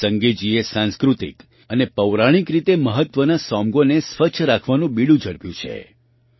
સંગેજીએ સાંસ્કૃતિક અને પૌરાણિક રીતે મહત્ત્વના સોમગો ત્સોમ્ગો ને સ્વચ્છ રાખવાનું બીડું ઝડપ્યું છે